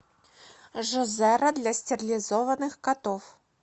жозера для стерилизованных котов